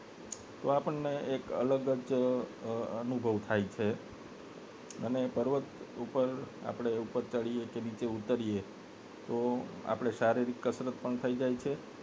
તો આપને એક અલગ જ અનુભવ થાય છે અને પર્વત ઉપર આપને ઉપર ચડીએ કે નીચ ઉતરી તો આપને શારીરિક કસરત પણ થઈ જાય છે અને